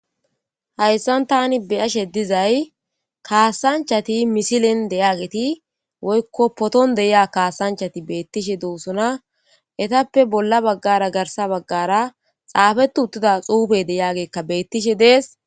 hayssan tani be'ashe dizay kaasanchati misilen de'iyageti woykko poton de'ia kaasanchati beettishe doosona etappe bolla baggara garsa baggara xaafetu uttida xuufey de'agekka beettishe dees